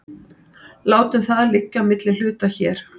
Látum það liggja á milli hluta hér.